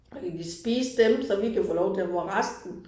Og de kan spise dem så vi kan få lov til at få resten